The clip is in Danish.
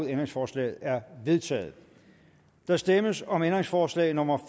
ændringsforslaget er vedtaget der stemmes om ændringsforslag nummer